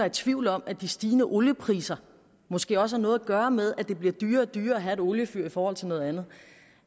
i tvivl om at de stigende oliepriser måske også har noget at gøre med at det bliver dyrere og dyrere at have et oliefyr i forhold til noget andet